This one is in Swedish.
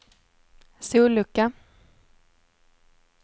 sollucka